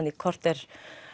í korter